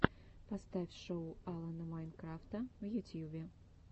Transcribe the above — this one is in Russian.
поставь шоу алана майнкрафта в ютьюбе